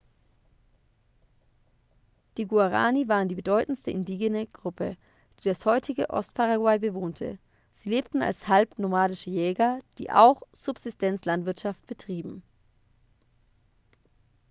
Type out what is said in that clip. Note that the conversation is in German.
die guaraní waren die bedeutendste indigene gruppe die das heutige ostparaguay bewohnte. sie lebten als halbnomadische jäger die auch subsistenzlandwirtschaft betrieben